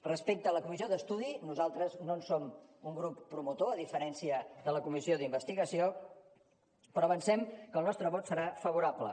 respecte a la comissió d’estudi nosaltres no en som un grup promotor a diferència de la comissió d’investigació però avancem que el nostre vot serà favorable